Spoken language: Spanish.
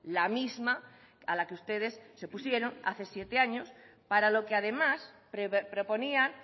la misma a la que ustedes se opusieron hace siete años para lo que además proponían